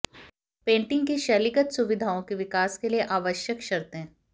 painting की शैलीगत सुविधाओं के विकास के लिए आवश्यक शर्तें